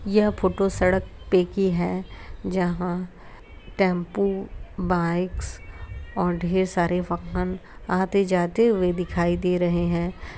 यह फोटो सड़क पे की है जहां टेम्पो बाइक्स ढ़ेर सारे वाहन आते जाते हुए दिखाई दे रहे हैं।